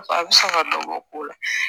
A bɛ se ka dɔ bɔ o ko la